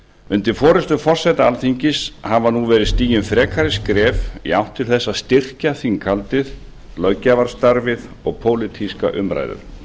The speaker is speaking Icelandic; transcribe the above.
undir forustu forseta alþingis hafa nú verið stigin frekari skref í átt til þess að styrkja þinghaldið löggjafarstarfið og pólitískar umræður